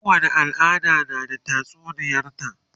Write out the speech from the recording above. kowani al'ada na da tatsuniyar ta